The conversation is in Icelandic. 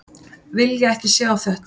Vilja ekki sjá þetta.